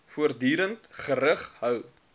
voortdurend gerig hou